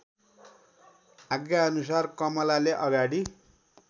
आज्ञाअनुसार कमलाले अगाडि